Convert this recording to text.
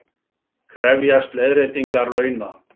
Krefjast leiðréttingar launa